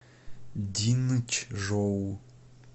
динчжоу